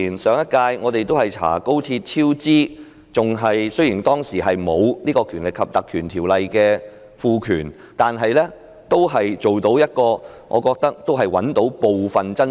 上一屆我們曾調查廣深港高速鐵路超支，雖然當時沒有《條例》賦予的權力，但我認為可以找出部分真相。